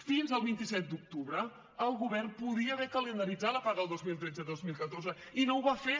fins al vint set d’octubre el govern podia haver calendaritzat la paga del dos mil tretze i dos mil catorze i no ho va fer